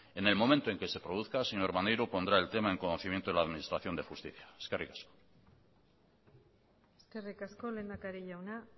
en el momento en que se produzca señor maneiro pondrá el tema en conocimiento de la administración de justicia eskerrik asko eskerrik asko lehendakari jauna